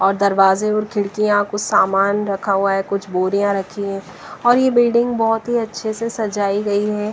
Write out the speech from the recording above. और दरवाजे और खिड़कियां कुछ सामान रखा हुआ है कुछ बोरियां रखी है और यह बिल्डिंग बहुत ही अच्छे से सजाई गई है।